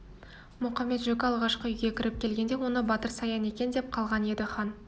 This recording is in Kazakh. мұқамет-жөкі алғашқы үйге кіріп келгенде оны батыр саян екен деп қалған еді хан